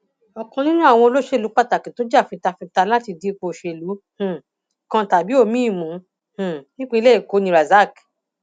ọkan nínú àwọn olóṣèlú pàtàkì tó jà fitafita láti di ipò òṣèlú um kan tàbí omiín mú um nípìnlẹ èkó ni razak